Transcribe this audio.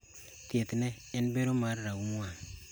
Thiethne en bero mar raum wang`.